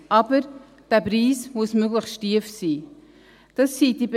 Aber dieser Preis muss möglichst tief sein.